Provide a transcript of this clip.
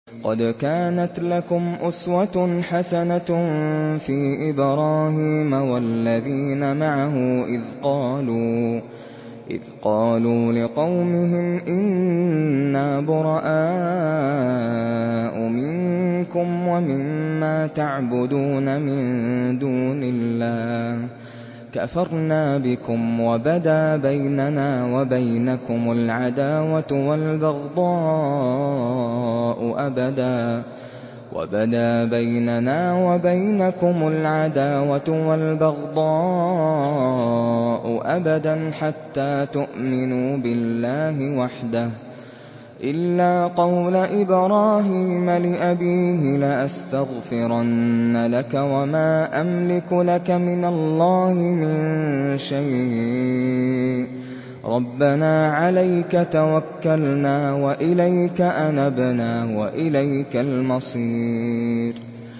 قَدْ كَانَتْ لَكُمْ أُسْوَةٌ حَسَنَةٌ فِي إِبْرَاهِيمَ وَالَّذِينَ مَعَهُ إِذْ قَالُوا لِقَوْمِهِمْ إِنَّا بُرَآءُ مِنكُمْ وَمِمَّا تَعْبُدُونَ مِن دُونِ اللَّهِ كَفَرْنَا بِكُمْ وَبَدَا بَيْنَنَا وَبَيْنَكُمُ الْعَدَاوَةُ وَالْبَغْضَاءُ أَبَدًا حَتَّىٰ تُؤْمِنُوا بِاللَّهِ وَحْدَهُ إِلَّا قَوْلَ إِبْرَاهِيمَ لِأَبِيهِ لَأَسْتَغْفِرَنَّ لَكَ وَمَا أَمْلِكُ لَكَ مِنَ اللَّهِ مِن شَيْءٍ ۖ رَّبَّنَا عَلَيْكَ تَوَكَّلْنَا وَإِلَيْكَ أَنَبْنَا وَإِلَيْكَ الْمَصِيرُ